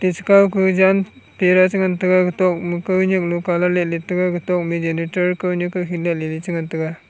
che kau kah jan tera che ngan tega gatok ma kau nyak lung calat latlat taiga gatok ma geneter khaunyak kaukhin ja lele che ngan tega.